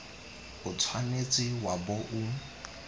o tshwanetse wa bo o